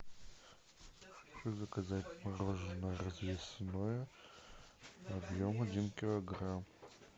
заказать мороженое развесное объем один килограмм